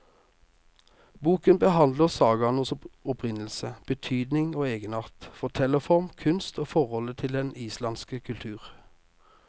Boken behandler sagaenes opprinnelse, betydning og egenart, fortellerform, kunst og forholdet til den islandske kultur.